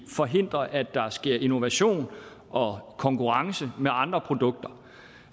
forhindre at der sker innovation og konkurrence med andre produkter